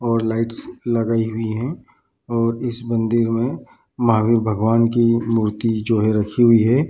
और लाइट्स लगाई हुई है और इस मंदिर मे महावीर भगवान की मूर्ति जो है रखी हुई है।